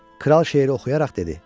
Kral şeiri oxuyaraq dedi: